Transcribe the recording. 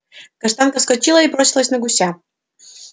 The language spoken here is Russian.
каштанка вскочила и бросилась на гуся